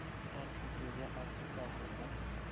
a thuto bja afrika borwa